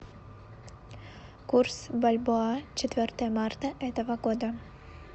курс бальбоа четвертое марта этого года